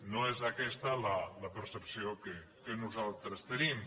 no és aquesta la percepció que nosaltres en tenim